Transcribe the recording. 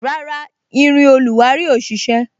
Rárá, irin oluwari ò ṣise